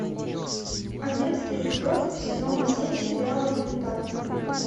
одиннадцатый эпизод сезона семь сериала элементарно